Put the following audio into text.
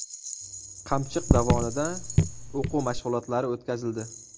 Qamchiq dovonida o‘quv mashg‘ulotlari o‘tkazildi.